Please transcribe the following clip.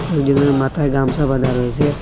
এই তিনজনের মাথায় গামছা বাধা রয়েছে।